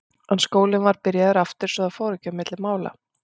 En skólinn var byrjaður aftur svo að það fór ekki á milli mála.